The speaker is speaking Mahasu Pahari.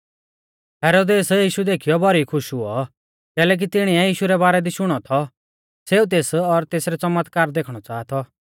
हेरोदेस यीशु देखीयौ भौरी खुश हुऔ कैलैकि तिणीऐ यीशु रै बारै दी शुणौ थौ सेऊ तेस और तेसरै च़मतकार देखणै च़ाहा थौ